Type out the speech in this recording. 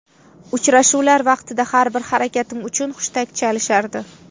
Uchrashuvlar vaqtida har bir harakatim uchun hushtak chalishardi.